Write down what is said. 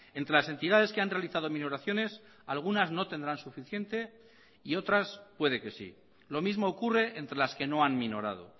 entre las entidades que han realizado minoraciones algunas no tendrán suficiente y otras puede que sí lo mismo ocurre entre las que no han minorado